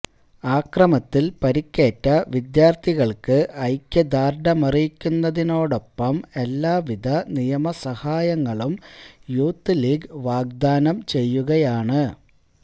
അക്രമത്തിൽ പരിക്കേറ്റ വിദ്യാർത്ഥികൾക്ക് ഐക്യദാർഢ്യമാറിയിക്കുന്നതോടൊപ്പം എല്ലാ വിധ നിയമ സഹായങ്ങളും യൂത്ത് ലീഗ് വാഗ്ദാനം ചെയ്യുകയാണ്